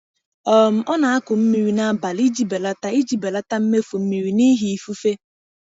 um Ọ na-akụ mmiri n’abalị iji belata iji belata mmefu mmiri n’ihi ifufe.